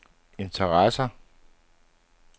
interesserer